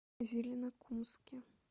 зеленокумске